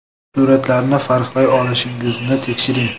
Suratlarni farqlay olishingizni tekshiring.